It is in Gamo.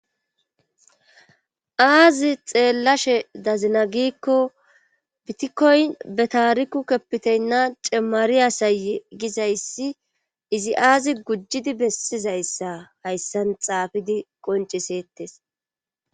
Aazi xeellashe dazina giikko biitikoyn betaariku cemmari asayye gizayssi izi aazi gujjidi bessizayssa hayssan xaafidi qoncciseettes.